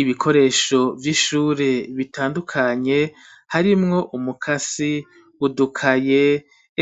Ibikoresho vy'ishure bitandukanye harimwo: umukasi, udukaye,